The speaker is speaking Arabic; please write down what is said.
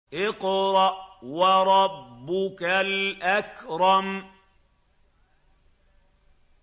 اقْرَأْ وَرَبُّكَ الْأَكْرَمُ